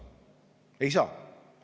Ei saa!